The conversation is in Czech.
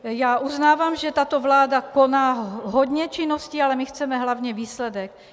Já uznávám, že tato vláda koná hodně činností, ale my chceme hlavně výsledek.